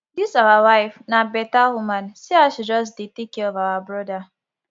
dis our wife na beta woman see as she just dey take care of our broda